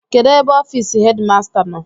Kedụ ebe ọfịịsị hedịmasta nọ?